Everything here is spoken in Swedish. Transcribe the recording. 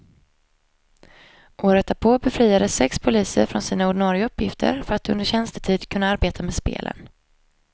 Året därpå befriades sex poliser från sina ordinare uppgifter för att under tjänstetid kunna arbeta med spelen.